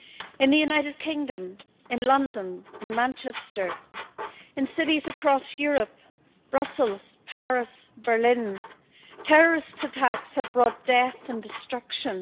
In the United Kingdom, in London, in Manchester, in cities across Europe, Brussels, Paris and Berlin, terrorist attacks have brought death and destruction.